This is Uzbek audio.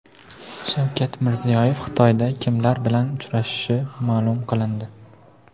Shavkat Mirziyoyev Xitoyda kimlar bilan uchrashishi ma’lum qilindi .